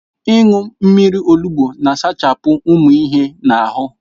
Ịṅụ mmiri olugbo na-asachapụ ụmụ ihe na ahụ.